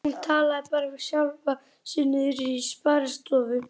Hún talaði bara við sjálfa sig niðri í sparistofu.